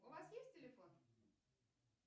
у вас есть телефон